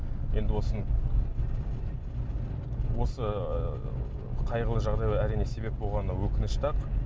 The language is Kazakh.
енді осыны осы ыыы қайғылы жағдайлар әрине себеп болғаны өкінішті ақ